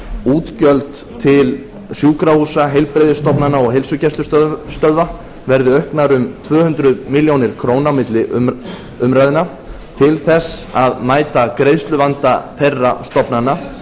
útgjöld til sjúkrahúsa heilbrigðisstofnana og heilsugæslustöðva verði auknar um tvö hundruð milljóna króna á milli umræðna til að mæta greiðsluvanda þeirra stofnana